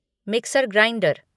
mixer grinder